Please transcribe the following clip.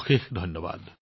অশেষ ধন্যবাদ